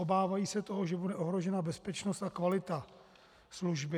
Obávají se toho, že bude ohrožena bezpečnost a kvalita služby.